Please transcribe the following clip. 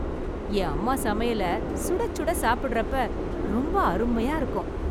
என் அம்மா சமையல , சுடச்சுட சாப்பிடறப்ப ரொம்ப அருமையா இருக்கும்